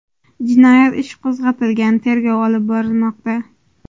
Jinoyat ishi qo‘zg‘atilgan, tergov olib borilmoqda.